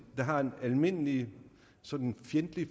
der har en almindelig sådan fjendtlig